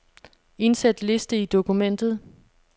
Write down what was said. Indsæt liste i dokumentet.